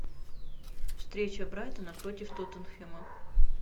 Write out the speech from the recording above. встреча брайтона против тоттенхэма